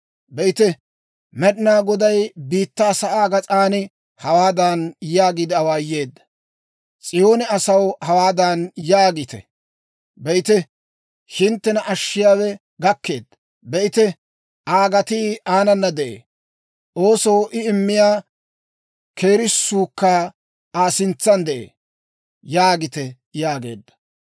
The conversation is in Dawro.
Be'ite, Med'inaa Goday biittaa sa'aa gas'aan hawaadan yaagiide awaayeedda; «S'iyoone asaw hawaadan yaagite; ‹Be'ite, hinttena Ashshiyaawe gakkeedda! Be'ite, Aa gatii aanana de'ee; oosoo I immiyaa keerisuukka Aa sintsan de'ee› yaagite» yaageedda.